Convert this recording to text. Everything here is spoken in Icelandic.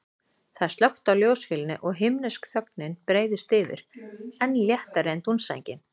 Það er slökkt á ljósavélinni og himnesk þögnin breiðist yfir, enn léttari en dúnsængin.